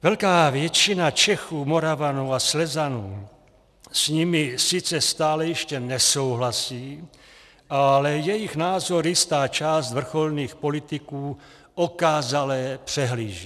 Velká většina Čechů, Moravanů a Slezanů s nimi sice stále ještě nesouhlasí, ale jejich názor jistá část vrcholných politiků okázale přehlíží.